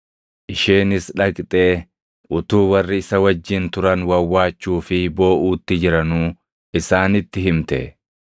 Isheenis dhaqxee utuu warri isa wajjin turan wawwaachuu fi booʼuutti jiranuu isaanitti himte.